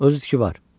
Özü ki var.